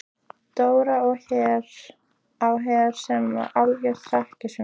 Dóra á Her sem var algjört hrekkjusvín.